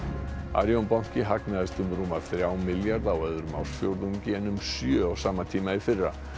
Arion banki hagnaðist um rúma þrjá milljarða á öðrum ársfjórðungi en um sjö á sama tíma í fyrra